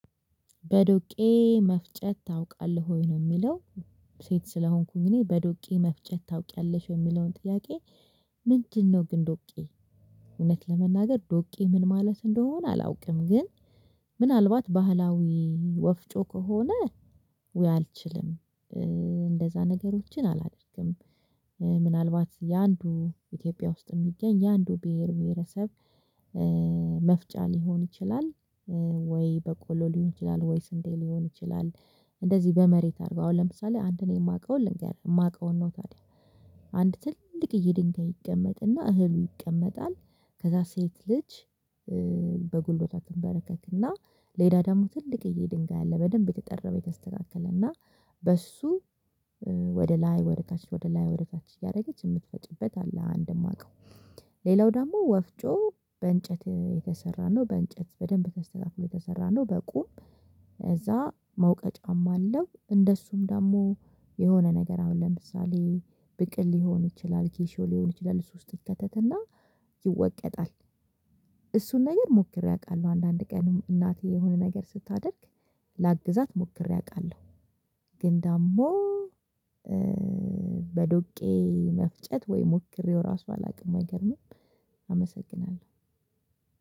በዶቄ መፍጨት ታውቃለህ ወይ ነው የሚለው ሴት ስለሆንኩኝ እኔ በዶቄ መፍጨት ታውቂያለሽ የሚለውን ጥያቄ? ምንድነው ግን ዶቄ እውነት ለመናገር ዶቄ ምን ማለት እንደሆነ አላውቅም። ግን ምናልባት ባህላዊ ወፍጮ ከሆነ ውይ አልችልም። እንደዛ ነገሮችን አላደርግም። ምናልባት የአንዱ ኢትዮጵያ ውስጥ የሚገኝ የአንዱ ብሄር ብሄረሰብ። መፍጫ ሊሆን ይችላል ወይ በቆሎ ሊሆን ይችላል ወይ ስንቴ ሊሆን ይችላል። እንደዚህ በመሬት አድርገው አሁን ለምሳሌ አንድ ነው የማውቀውን ልንገር የማውቀውን ነው ታዲያ። አንድ ትልቅ ይሄ ድንጋይ ይቀመጥና እህሉ ይቀመጣል። ከዛ ሴት ልጅ። በጉልበታችን ተንበረከክና እና ደግሞ ትልቅዬ ድንጋይ አለ በደንብ የተጠረበ የተስተካከለና በሱ ወደ ላይ ወደ ታች ወደ ላይ ወደ ታች እያደረገች የምትፈጪበት አለ። አንድ የማውቀው። ሌላው ደግሞ ወፍጮ በእንጨት የተሰራን ነው በእንጨት በደንብ ተስተካፍሎ የተሰራን ነው። በቁም እዛ መውቀጫም አለው። እንደሱም ደግሞ የሆነ ነገር አሁን ለምሳሌ ብቅል ሊሆን ይችላል ኬሾ ሊሆን ይችላል ሶስት ይከተትና ይወቀጣል። እሱን ነገር ሞክሬ አውቃለሁ አንዳንድ ቀን እናቴ የሆነ ነገር ስታደርግ ላግዛት ሞክሬ አውቃለሁ። ግን ደግሞ በዶቄ መፍጨት ወይ ሞክሬው ራሱ አላውቅም አይገርምም።